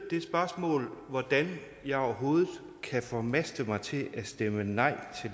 det spørgsmål hvordan jeg overhovedet kan formaste mig til at stemme nej